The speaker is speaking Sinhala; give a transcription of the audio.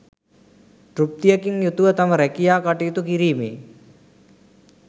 තෘප්තියකින් යුතුව තම රැකියා කටයුතු කිරීමේ